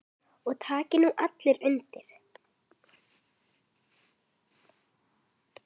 Og taki nú allir undir.